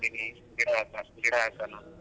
ಗಿಡ ತರ್ತೀನಿ ಗಿಡ ಹಾಕೋಣ.